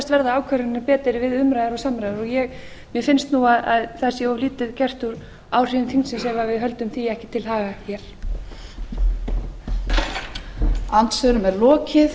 verða ákvarðanir betri við umræður og samræður mér finnst nú að það sé of lítið gert úr áhrifum þingsins ef við höldum því ekki til haga hér